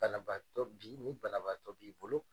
Banabatɔ bi ni banabaatɔ b'i bolo